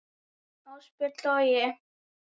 Ásbjörn Logi.